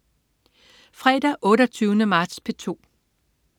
Fredag den 28. marts - P2: